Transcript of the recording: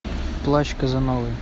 плащ казановы